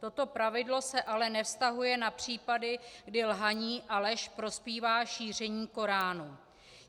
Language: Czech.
Toto pravidlo se ale nevztahuje na případy, kdy lhaní a lež prospívá šíření koránu.